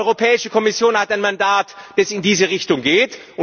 Die Europäische Kommission hat ein Mandat, das in diese Richtung geht.